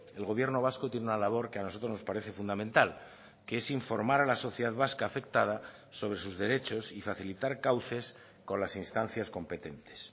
el gobierno vasco tiene una labor que a nosotros nos parece fundamental que es informar a la sociedad vasca afectada sobre sus derechos y facilitar cauces con las instancias competentes